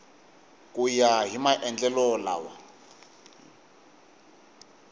ku ya hi maendlelo lama